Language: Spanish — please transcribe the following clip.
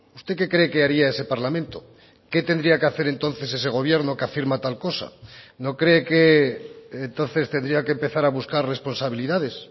usted qué cree que haría ese parlamento qué tendría que hacer entonces ese gobierno que afirma tal cosa no cree que entonces tendría que empezar a buscar responsabilidades